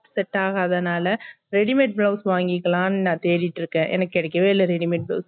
set டாகதானால readymade blouse வாங்கிக்கலாம்ட்டு நா தேடிட்டு இருக்கே என்னக்கு கிடைக்கவே இல்ல readymade blouse